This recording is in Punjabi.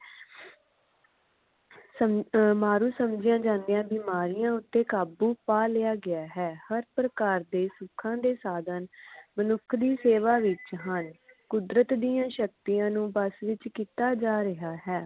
ਸਮ ਅਹ ਮਾਰੂ ਸਮਝੀਆ ਜਾਂਦੀਆਂ ਬੀਮਾਰੀਆਂ ਤੇ ਕਾਬੂ ਪਾ ਲਿਆ ਗਿਆ ਹੈਂ ਹਰ ਪ੍ਰਕਾਰ ਦੇ ਸੁੱਖਾ ਦੇ ਸਾਧਨ ਮਨੁੱਖ ਦੀ ਸੇਵਾ ਵਿਚ ਹਨ ਕੁਦਰਤ ਦੀਆ ਸ਼ਕਤੀਆਂ ਨੂੰ ਵਸ ਵਿਚ ਕੀਤਾ ਜਾ ਰਿਹਾ ਹੈ